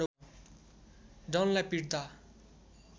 डनलाई पिट्दा